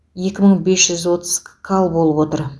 екі мың бес жүз гкал болып отыр